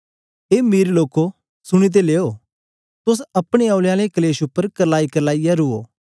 ए मीर लोको सुनी ते लेयो तोस अपने औने आलें कलेश उपर करलाईकरलाईयै रुओ